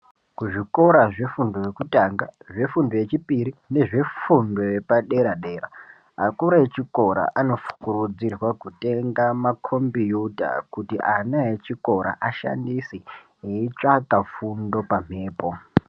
Kuzvikora zvefundo yekutanga , zvefundo yechipiri nezvefundo yepadera dera , akuru echikora anokurudzirwe kutenga makombiyuta kuti ana echikora aishandise wotsvaga fundo pamhepo.